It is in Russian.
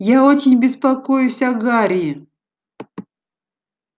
я очень беспокоюсь о гарри